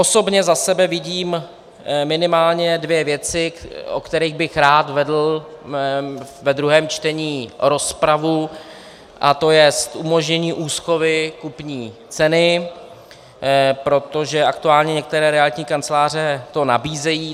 Osobně za sebe vidím minimálně dvě věci, o kterých bych rád vedl ve druhém čtení rozpravu, a to je umožnění úschovy kupní ceny, protože aktuálně některé realitní kanceláře to nabízejí.